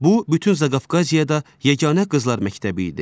Bu, bütün Zaqafqaziyada yeganə qızlar məktəbi idi.